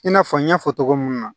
I n'a fɔ n y'a fɔ togo mun na